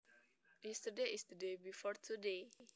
Yesterday is the day before today